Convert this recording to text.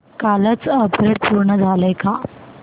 कालचं अपग्रेड पूर्ण झालंय का